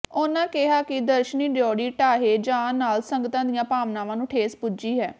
ਉਨ੍ਹਾਂ ਕਿਹਾ ਕਿ ਦਰਸ਼ਨੀ ਡਿਉਢੀ ਢਾਹੇ ਜਾਣ ਨਾਲ ਸੰਗਤਾਂ ਦੀਆਂ ਭਾਵਨਾਵਾਂ ਨੂੰ ਠੇਸ ਪੁੱਜੀ ਹੈ